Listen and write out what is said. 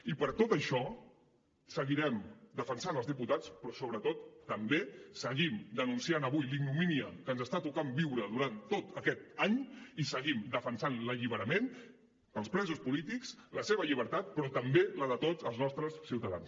i per tot això seguirem defensant els diputats però sobretot també seguim denunciant avui la ignomínia que ens està tocant viure durant tot aquest any i seguim defensat l’alliberament per als presos polítics la seva llibertat però també la de tots els nostres ciutadans